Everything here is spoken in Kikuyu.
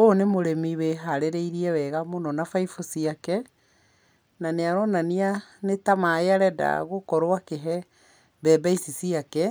Ũyũ nĩ mũrĩmi wĩharĩrĩirie wega mũno na baibũ ciake, na nĩaronania nĩta maaĩ arenda gũkorwo akĩhe mbembe ici ciake,